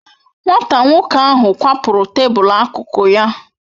Nwata nwoko ahu kwapuru tabul akụkụ ya